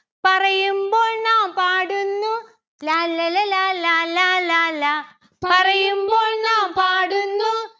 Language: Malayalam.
പറയുമ്പോൾ നാം പാടുന്നു ലാല്ലല ലാലാ ലാലാ ലാ. പറയുമ്പോൾ നാം പാടുന്നു